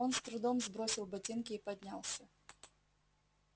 он с трудом сбросил ботинки и поднялся